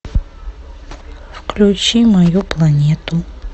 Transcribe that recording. включи мою планету